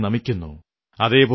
സമാധാനത്തോടെ ഞാനുറങ്ങുന്നു കാരണം